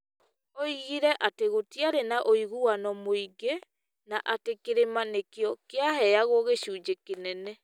Oigire atĩ gũtiarĩ na ũiguano mũingĩ, na atĩ Kĩrĩma nĩkĩo kĩaheagwo gĩcunjĩ kĩnene.